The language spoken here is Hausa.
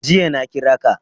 Jiya na kira ka.